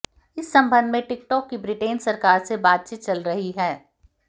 इस संबंध में टिकटॉक की ब्रिटेन सरकार से बातचीत चल रही है